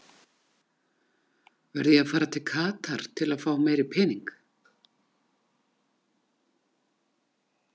Verð ég að fara til Katar til fá meiri pening?